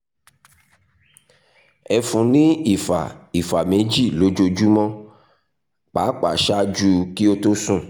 ẹ fún un ní ìfà ìfà méjì lójúmọ́ pàápàá ṣáájú kí ó tó sùn